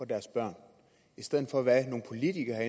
deres børn i stedet for hvad nogle politikere